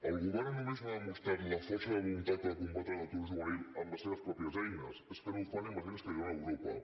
el govern no només no ha demostrat la força de voluntat que cal per combatre l’atur juvenil amb els seves pròpies eines és que no ho fa ni amb les eines que li dona europa